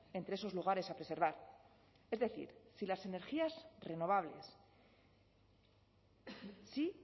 entre sus lugares a preservar es decir si las energías renovables sí